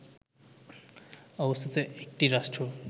অবস্থিত একটি রাষ্ট্র